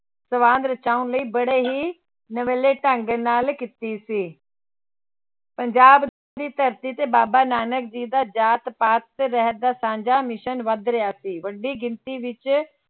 ਸਵਾਂਘ ਰਚਾਉਣ ਲਈ ਬੜੇ ਹੀ ਨਵੇਲੇ ਢੰਗ ਨਾਲ ਕੀਤੀ ਸੀ ਪੰਜਾਬ ਦੀ ਧਰਤੀ ਤੇ ਬਾਬਾ ਨਾਨਕ ਜੀ ਦਾ ਜਾਤ ਪਾਤ ਰਹਿਤ ਸਾਂਝਾ mission ਵੱਧ ਰਿਹਾ ਸੀ ਵੱਡੀ ਗਿਣਤੀ ਵਿੱਚ